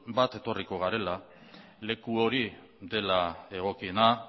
bat etorriko garela leku hori dela egokiena